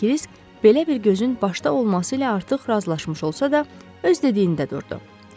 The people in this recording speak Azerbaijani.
Kirisk belə bir gözün başda olması ilə artıq razılaşmış olsa da, öz dediyində durdu.